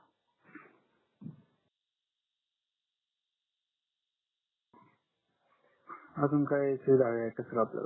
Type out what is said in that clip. अजून काही सुविधा हवी आहे का सर तुम्हाला